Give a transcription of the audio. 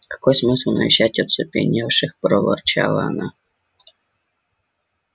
какой смысл навещать оцепеневших проворчала она